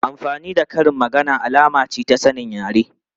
Amfani da karin magana alama ce ta sanin yare.